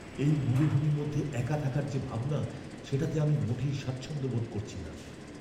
এই মরুভূমির মধ্যে একা থাকার যে ভাবনা, সেটাতে আমি মোটেই স্বাচ্ছন্দ্য বোধ করছি না।